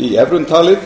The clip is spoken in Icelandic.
í evrum talið